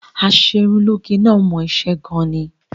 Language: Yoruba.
Aṣerunlóge náà mọ iṣẹ́ gan-an ni